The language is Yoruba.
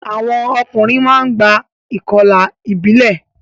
Àwọn ọkùnrin máa ń gba ìkọlà ìbílẹ̀.